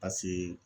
Paseke